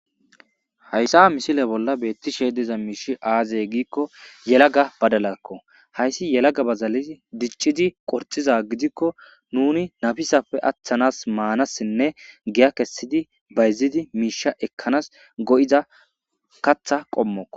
hayssaa misile bolla beetti sheediza miishi aazey giikko yelaga badalakko hayssi yelaga bazali diccidi qorxiza gidikko nuni nabisafe aththanas maanassinne giya kessidi bayzidi miisha ekkanas go7ida katha qommoko